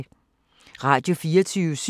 Radio24syv